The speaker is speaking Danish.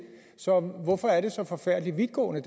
så hvorfor er det så forfærdelig vidtgående